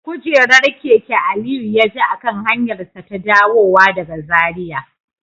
Kujerar keke Aliyu ya ji a kan hanyarsa ta dawowa daga Zaria